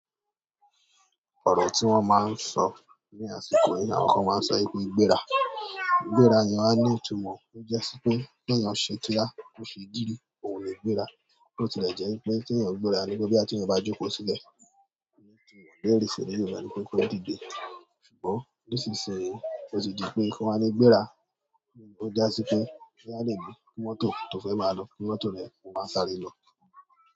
Ọ̀rọ̀ tí wọ́n máa ń sọ ní àsìkò yìí, àwọn kan máa ń sọ pé gbéra. Gbéra yẹn wa ní ìtumọ̀, ó jẹ́ ṣé pé kí èèyàn ṣe kíá, kó ṣe gidi, òun ni gbéra. Bo tì le jẹ́ pé tí èèyàn gbéra ni wípé boya ti eeyan bá jókòó sílẹ̀, ọ̀rẹ́ tí wọ̀n lè rí sílẹ̀ yóò ràri pé ó ti dide. Ṣùgbọ́n nísinsìn yí ó ti di pé kan wa ni gbéra, ó ja ṣi pé bí à nìgbé mọ́tò tó fẹ́ máa lọ, pé mọ́tò rẹ ó máa sáré lọ.